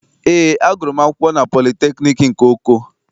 Eé, agụrụ m akwụkwọ na politekniik nke Oko.